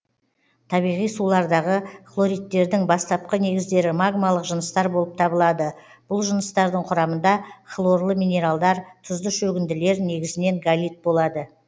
табиғи сулардағы хлоридтердің бастапқы негіздері магмалық жыныстар болып табылады бұл жыныстардың құрамында хлорлы минералдар тұзды шөгінділер негізінен галит болады